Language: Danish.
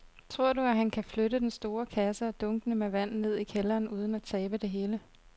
Tror du, at han kan flytte den store kasse og dunkene med vand ned i kælderen uden at tabe det hele?